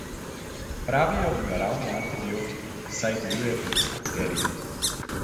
Pravijo mu naravni antibiotik, saj deluje proti bakterijam.